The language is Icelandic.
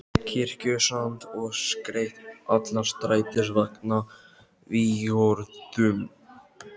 Kirkjusand og skreytt alla strætisvagnana vígorðum.